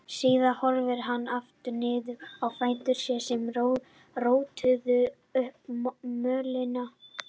Síðan horfði hann aftur niður á fætur sér sem rótuðu upp mölinni.